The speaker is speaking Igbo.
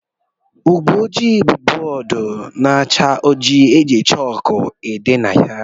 Ụgbọjii bụ bóódú na-acha ojii eji chaalkú ede ihe na ya.